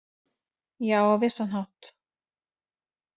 Já, á vissan hátt